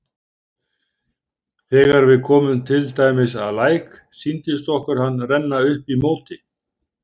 Þegar við komum til dæmis að læk sýndist okkur hann renna upp í móti.